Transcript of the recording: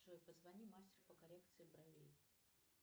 джой позвони мастеру по коррекции бровей